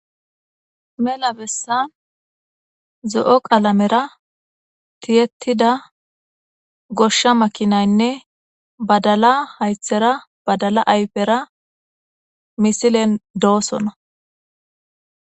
mela bessan zo7o qalamera tiyettida goshsha makinaynne badala haythera badala ayfera misilen doosona